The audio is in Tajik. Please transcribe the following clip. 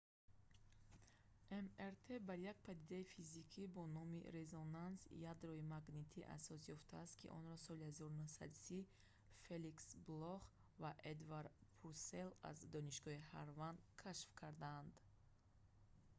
мрт бар як падидаи физика бо номи резонанси ядроии магнитӣ рям асос ёфтааст ки онро солҳои 1930 феликс блох дар донишгоҳи стэнфорд фаъолият мекард ва эдвард пурселл аз донишгоҳи ҳарвард кашф кардаанд